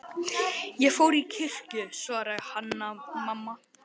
Ég fór í kirkju, svaraði Hanna-Mamma.